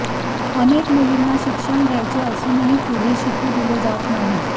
अनेक मुलींना शिक्षण घ्यायचे असूनही पुढे शिकू दिले जात नाही